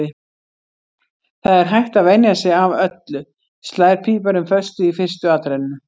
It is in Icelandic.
Það er hægt að venja sig af öllu, slær píparinn föstu í fyrstu atrennu.